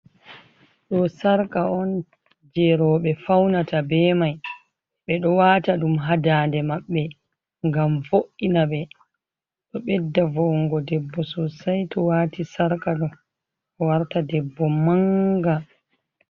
Ɗo sarka on jey rowɓe fawnata be may, ɓe ɗo waata ɗum haa daande maɓɓe, ngam vo’inaɓe, ɗo ɓedda vo''ungo debbo soosay, to waati sarka ɗo, warta debbo mannga.